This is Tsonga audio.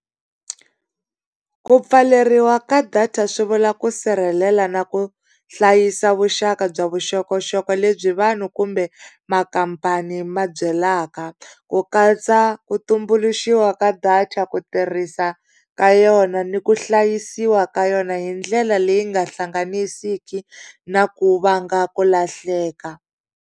Ku pfaleriwa ka data swi vula ku sirhelela na ku hlayisa vuxaka bya vuxokoxoko lebyi vanhu kumbe makampani ma byelaka. Ku katsa ku tumbuluxiwa ka data, ku tirhisa ka yona ni ku hlayisiwa ka yona hi ndlela leyi nga hlanganisiki na ku vanga ku lahleka.